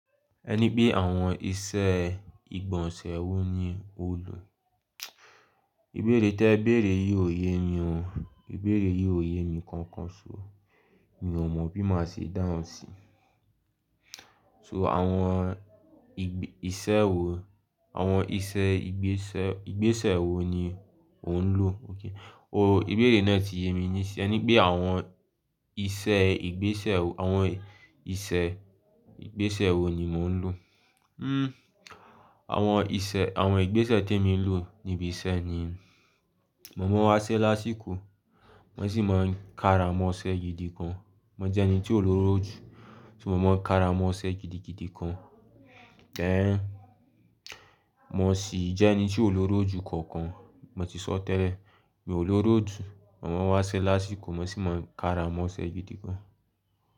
Ẹ ní pé àwọn ìṣe ìgbọ̀nsẹ̀ wo ni o lò? Ìbéèrè tí ẹ bèèrè yìí ò yé mi o, ìbéèrè yìí ò yé mi kankan. So, mi ò mọ̀ bí màá ṣe dáhùn síi. So àwọn ìgbẹ-- ìṣẹ́ wo, àwọn ìṣe ìgbésẹ̀, ìgbésẹ̀ wo ni ò ń lò? Okay. Oh, ìbéèrè náà ti yé mi nísin ẹ ní pé àwọn ìṣe ìgbésẹ̀, àwọn ìṣe ìgbésẹ̀ wo ni mò ń lò? Hmm, àwọn ìṣe, àwọn ìgbésẹ̀ tí èmi ń lò ni ìbì iṣẹ́ ni. Mọ̀ máa ń wá iṣẹ́ lásìkò, wón sì máa ń kára mọ́ iṣẹ́ gidi kan. Mọ̀ jẹ́ ẹni tí ó loroju, so, mò máa ń kára mọ́ iṣẹ́ gidigidi gan. Ẹn, mò ṣì jẹ́ ẹni tí ó loroju kankan, mò ti sọ tẹ́lẹ̀. Mi ò loroju, mò máa ń wá iṣẹ́ lásìkò, mò ṣì máa ń kára mọ́ iṣẹ́ gidi gan.